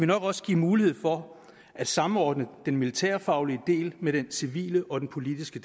nok også give mulighed for at samordne den militærfaglige del med den civile og den politiske